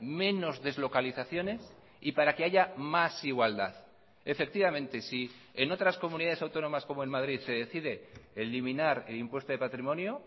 menos deslocalizaciones y para que haya más igualdad efectivamente si en otras comunidades autónomas como en madrid se decide eliminar el impuesto de patrimonio